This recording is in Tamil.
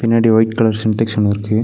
பின்னாடி ஒயிட் கலர் சின்டெக்ஸ் ஒன்னு இருக்கு.